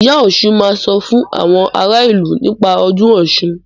Ìyá Ọsùn máa sọ fún àwọn ara ìlú nípa ọdún Ọ̀ṣun.